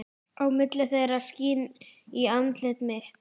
Á milli þeirra skín í andlit mitt.